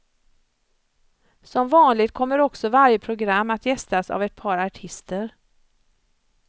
Som vanligt kommer också varje program att gästas av ett par artister.